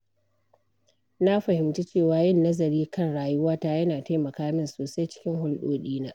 Na fahimci cewa yin nazari kan rayuwata yana taimaka min sosai cikin hulɗoɗina.